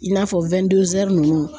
I n'a fɔ ninnu.